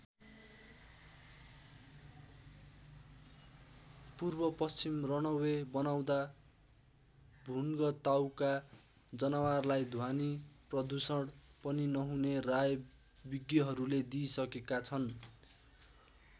पूर्व पश्चिम रनवे बनाउँदा भुन्ग ताउका जनवारलाई ध्वनी प्रदूषण पनि नहुने राय विज्ञहरूले दिइसकेका छन्।